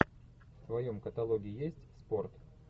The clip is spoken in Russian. в твоем каталоге есть спорт